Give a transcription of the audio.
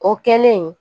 O kɛlen